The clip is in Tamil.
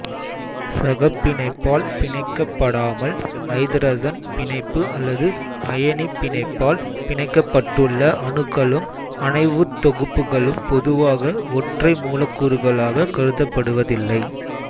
சகப்பிணைப்பால் பிணைக்கப்படாமல் ஐதரசன் பிணைப்பு அல்லது அயனிப் பிணைப்பால் பிணைக்கப்பட்டுள்ள அணுக்களும் அணைவுத் தொகுப்புகளும் பொதுவாக ஒற்றை மூலக்கூறுகளாக கருதப்படுவதில்லை